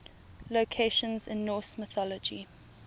locations in norse mythology